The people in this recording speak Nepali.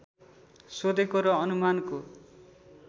सोधेको र अनुमानको